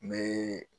N bɛ